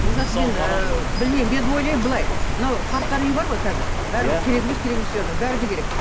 олжас мен ыыы білмеймін мен ойлаймын былай мынау қарттар үйі бар ғой қазір бәрі керек емес керек емес деп жатыр бәрі де керек